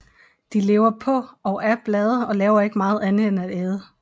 De lever på og af blade og laver ikke meget andet end at æde